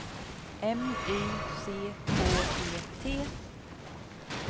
M Y C K E T